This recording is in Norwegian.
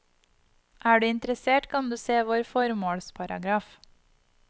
Er du interessert kan du se vår formalsparagraf.